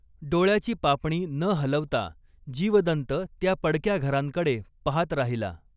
डोळ्याची पापणी न हलवता जीवदन्त त्या पडक्या घरांकडे पहात राहिला.